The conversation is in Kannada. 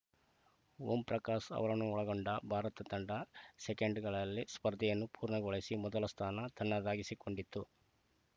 ಓಂ ಪ್ರಕಾಶ್‌ ಅವರನ್ನೊಳಗೊಂಡ ಭಾರತ ತಂಡ ಸೆಕೆಂಡ್‌ಗಳಲ್ಲಿ ಸ್ಪರ್ಧೆಯನ್ನು ಪೂರ್ಣಗೊಳಿಸಿ ಮೊದಲ ಸ್ಥಾನ ತನ್ನದಾಗಿಸಿಕೊಂಡಿತು